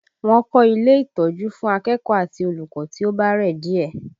Wọ́n kọ ilé ìtọ́jú fún akẹ́kọ̀ọ́ àti olùkọ́ tí ó bá rẹ̀ díẹ̀